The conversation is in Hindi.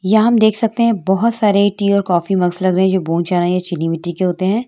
यहाँ हम देख सकते है बहुत सारे टी और कॉफी मग लगे हुए है जो बोन चाइना या चीनी मिट्टी के होते है |